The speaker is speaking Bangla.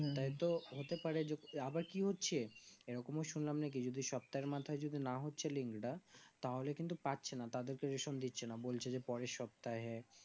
ওটাই তো হতে পারে আবার কি হচ্ছে এইরকম শুনলাম নাকি যদি সপ্তাহের মাথায় না হচ্ছে link এটা তাহলে কিন্তু পাচ্ছেনা তাদের কে রেশম দিচ্ছে না বলছে যে পরের সপ্তাহে